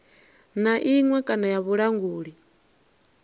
na iṅwe kana ya vhulanguli